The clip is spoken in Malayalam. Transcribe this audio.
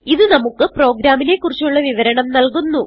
ഇത് നമുക്ക് പ്രോഗ്രാമിനെ കുറിച്ചുള്ള വിവരണം നല്കുന്നു